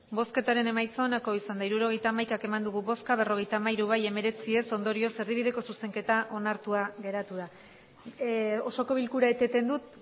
hirurogeita hamaika eman dugu bozka berrogeita hamairu bai hemeretzi ez ondorioz erdibideko zuzenketa onartua geratu da osoko bilkura eteten dut